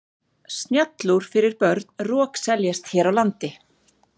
Snjallúr fyrir börn rokseljast hér á landi.